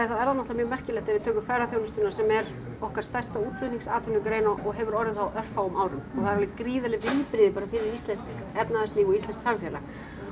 þá er það mjög merkilegt ef við tökum ferðaþjónustuna sem er okkar stærsta útflutningsatvinnugrein og hefur orðið á örfáum árum og það eru alveg gríðarleg viðbrigði bara fyrir íslenskt efnahagslíf og íslenskt samfélag